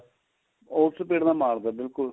ਉਸ speed ਨਾਲ ਮਾਰਦਾ ਬਿਲਕੁਲ